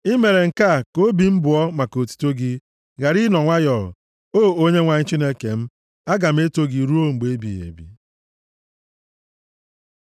I mere nke a ka obi m bụọ maka otuto gị, ghara ịnọ nwayọọ. O Onyenwe anyị Chineke m, aga m eto gị ruo mgbe ebighị ebi.